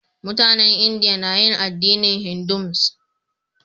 Mutanen India na yin addinin Hinduism.